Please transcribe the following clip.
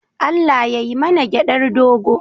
Allah yai mana gyaɗar dogo.